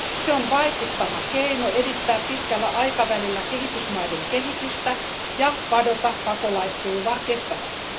Se on vaikuttava keino edistää pitkällä aikavälillä kehitysmaiden kehitystä ja padota pakolaistulvaa kestävästi.